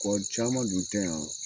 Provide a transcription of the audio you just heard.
Kɔ caman dun tɛ yan